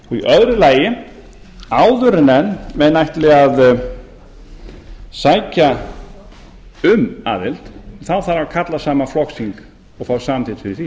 öðru lagi áður en menn ætli að sækja um aðild þarf að ætla saman flokksþing og fá samþykkt fyrir því